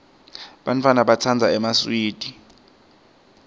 bantfwana batsandza emaswidi